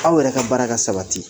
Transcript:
Aw yɛrɛ ka baaraka sabati